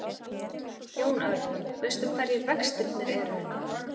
Jón Örn: Veistu hverjir vextirnir eru?